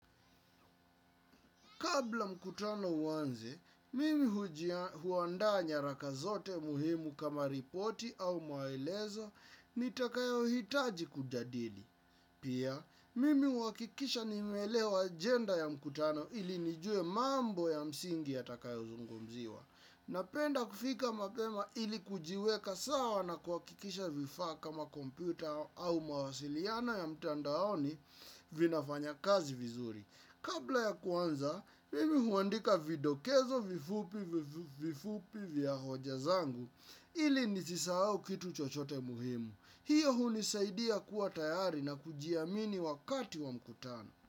Kabla mkutano uanze, mimi huandaa nyaraka zote muhimu kama ripoti au maelezo nitakayohitaji kujadili. Pia, mimi huakikisha nimeelewa ajenda ya mkutano ili nijue mambo ya msingi yatakayozungomziwa. Napenda kufika mapema ili kujiweka sawa na kuhakikisha vifa kama komputa au mawasiliano ya mtandaoni vinafanya kazi vizuri. Kabla ya kuanza, mimi huandika videkezo vifupi vifupi vya hoja zangu ili nisisahau kitu chochote muhimu. Hiyo hunisaidia kuwa tayari na kujiamini wakati wa mkutano.